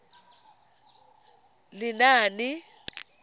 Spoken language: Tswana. lenaane